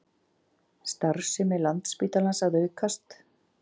Starfsemi Landspítalans að aukast